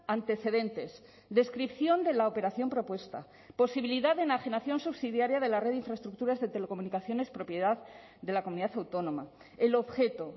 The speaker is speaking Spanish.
antecedentes descripción de la operación propuesta posibilidad de enajenación subsidiaria de la red de infraestructuras de telecomunicaciones propiedad de la comunidad autónoma el objeto